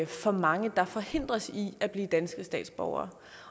for mange der forhindres i at blive danske statsborgere